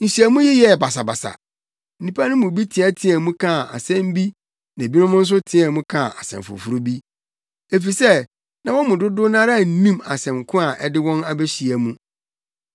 Nhyiamu yi yɛɛ basabasa; nnipa no mu bi teɛteɛɛ mu kaa nsɛm bi na ebinom nso teɛɛ mu kaa nsɛm foforo bi, efisɛ na wɔn mu dodow no ara nnim asɛm ko a ɛde wɔn abehyia mu.